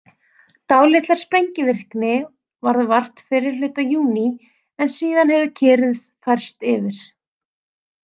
Dálítillar sprengivirkni varð vart fyrri hluta júní en síðan hefur kyrrð færst yfir.